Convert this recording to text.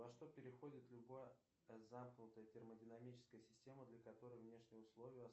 во что переходит любая замкнутая термодинамическая система для которой внешние условия